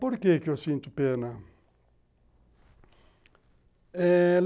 Por que que eu sinto pena? eh...